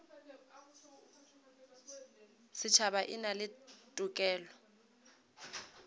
setšhaba e na le tokelo